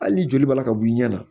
Hali ni joli b'a la ka b'i ɲɛ na